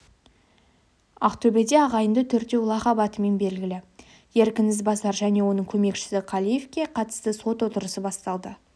ақтөбеде ағайынды төртеу лақап атымен белгілі еркін ізбасар және оның көмекшісі қалиевке қатысты сот отырысы басталды